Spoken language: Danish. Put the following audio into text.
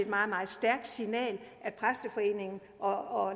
meget meget stærkt signal at præsteforeningen og